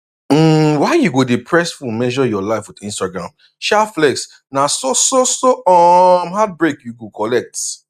um why you go dey press phone measure your life with instagram um flex na so so so um heartbreak you go collect